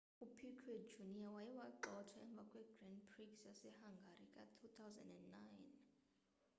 upiquet jr waye wagxothwa emva kwegrand prix yasehungary ka-2009